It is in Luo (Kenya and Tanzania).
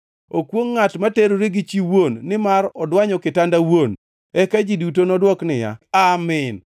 “Okwongʼ ngʼat ma terore gi chi wuon, nimar odwanyo kitanda wuon.” Eka ji duto nodwok niya, “Amin!”